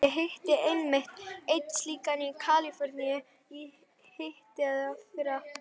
Ég hitti einmitt einn slíkan í Kaliforníu í hitteðfyrra.